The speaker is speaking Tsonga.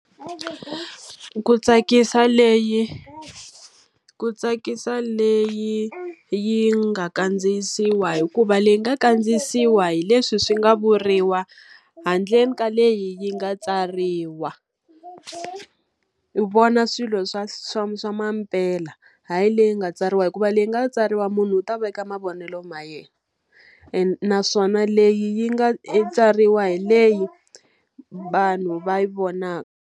Ku tsakisa leyi ku tsakisa leyi yi nga kandziyisiwa hikuva leyi nga kandziyisiwa hi leswi swi nga vuriwa handle ka leyi yi nga tsariwa. U vona swilo swa swa swa mampela. Hayi leyi nga tsariwa hikuva leyi nga tsariwa munhu u ta veka mavonelo ma yena. Naswona leyi yi nga tsariwa hi leyi vanhu va vonaka.